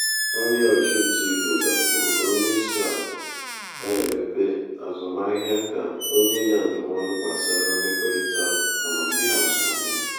um onye ọchụnta ego gakwuru onye isi akụ na-emepe um azụmaahịa ka o nye ya ndụmọdụ gbasara mmekọrịta um amamihe azụmahịa.